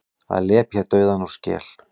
Að lepja dauðann úr skel